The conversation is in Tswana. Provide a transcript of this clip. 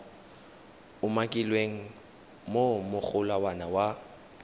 umakilweng mo go molawana wa